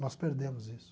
Nós perdemos isso.